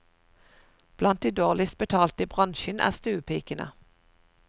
Blant de dårligst betalte i bransjen, er stuepikene.